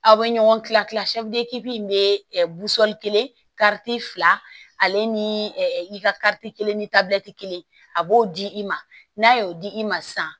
Aw bɛ ɲɔgɔn kila kila min bɛ kelen kariti fila ale ni i ka kariti kelen ni tabi kelen a b'o di i ma n'a ye o di i ma sisan